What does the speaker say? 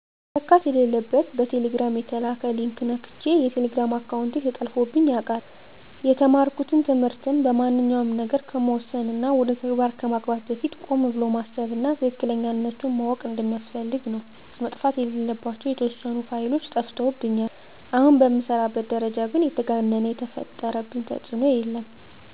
መነካት የለለበት በቴሌግራም የተላከ ሊንክ ነክቸ የቴሌግራም አካውንቴ ተጠልፎብኝ ያውቃል። የተማርኩት ትምህርትም ማንኛውንም ነገር ከመወሰን እና ወደ ተግባር ከማግባት በፊት ቆም ብሎ ማሰብ እና ትክክለኛነቱን ማዎቅ እንደሚያስፈልግ ነው። መጥፋት የለለባቸው የተዎሰኑ ፋይሎች ጠፍተውብኛል። አሁን በምሰራበት ደረጃ ግን የተጋነነ የፈጠረብኝ ተፅኖ የለም።